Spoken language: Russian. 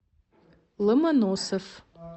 ломоносов